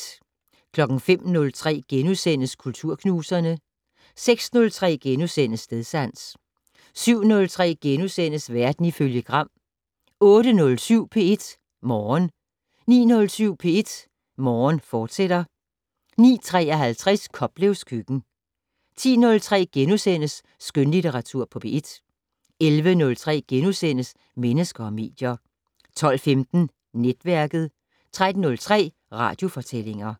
05:03: Kulturknuserne * 06:03: Stedsans * 07:03: Verden ifølge Gram * 08:07: P1 Morgen 09:07: P1 Morgen, fortsat 09:53: Koplevs køkken 10:03: Skønlitteratur på P1 * 11:03: Mennesker og medier * 12:15: Netværket 13:03: Radiofortællinger